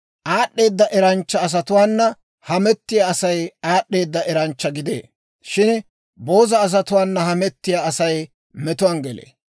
Aad'd'eeda eranchcha asatuwaana hamettiyaa Asay aad'd'eeda eranchcha gidee; shin booza asatuwaana hamettiyaa Asay metuwaan gelee.